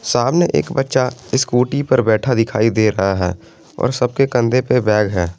सामने एक बच्चा स्कूटी पर बैठा दिखाई दे रहा है और सब के कंधे पे बैग है।